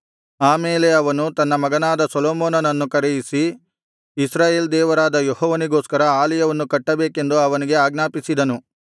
ಆ ಮೇಲೆ ಅವನು ತನ್ನ ಮಗನಾದ ಸೊಲೊಮೋನನನ್ನು ಕರೆಯಿಸಿ ಇಸ್ರಾಯೇಲ್ ದೇವರಾದ ಯೆಹೋವನಿಗೋಸ್ಕರ ಆಲಯವನ್ನು ಕಟ್ಟಬೇಕೆಂದು ಅವನಿಗೆ ಆಜ್ಞಾಪಿಸಿದನು